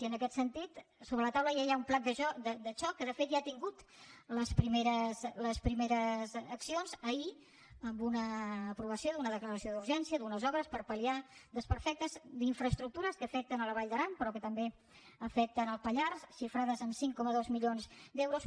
i en aquest sentit a sobre la taula ja hi ha un pla de xoc que de fet ja ha tingut les primeres accions ahir amb una aprovació d’una declaració urgència d’unes obres per pal·liar desperfectes d’infraestructures que afecten la vall d’aran però que també afecten el pallars xifrades en cinc coma dos milions d’euros